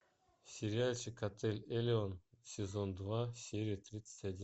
сериальчик отель элеон сезон два серия тридцать один